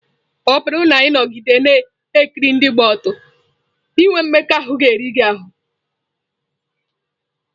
Ọ bụrụ na ị nọgide na-ekiri ndị gba ọtọ, inwe mmekọahụ ga-eri gị ahụ́.